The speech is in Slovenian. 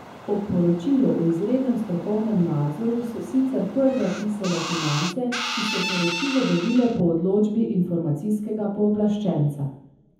O poročilu o izrednem strokovnem nadzoru so sicer prve pisale Finance, ki so poročilo dobile po odločbi informacijskega pooblaščenca.